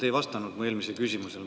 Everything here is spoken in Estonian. Te ei vastanud mu eelmisele küsimusele.